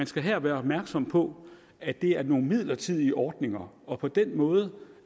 skal her være opmærksom på at det er nogle midlertidige ordninger og på den måde